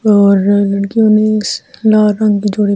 और लड़कियों ने लाल रंग की जोड़ी--